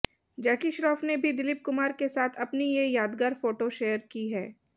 जैकी श्रॅाफ ने भी दिलीप कुमार के साथ अपनी ये यादगार फोटो शेयर की है